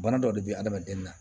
Bana dɔ de bɛ adamaden na